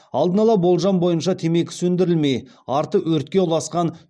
алдын ала болжам бойынша темекі сөндірілмей арты өртке ұласқан